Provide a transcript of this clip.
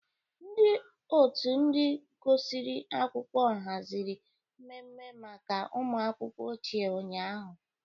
Ndị otu ndị gụsịrị akwụkwọ haziri mmemme maka ụmụakwụkwọ ochie ụnyahụ.